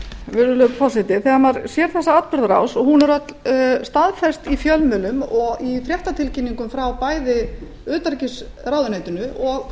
virðulegi forseti þegar maður sér þessa atburðarás og hún er öll staðfest í fjölmiðlum og í fréttatilkynningum frá bæði utanríkisráðuneytinu og